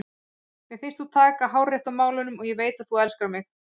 Mér finnst þú taka hárrétt á málunum og ég veit að þú elskar mig.